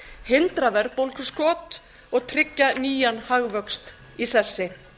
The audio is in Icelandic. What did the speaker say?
hindra verðbólguskot og tryggja nýjan hagvöxt í sessi